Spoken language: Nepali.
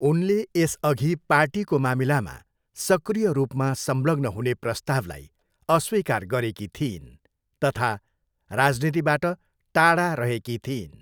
उनले यसअघि पार्टीको मामिलामा सक्रिय रूपमा संलग्न हुने प्रस्तावलाई अस्वीकार गरेकी थिइन् तथा राजनीतिबाट टाढा रहेकी थिइन्।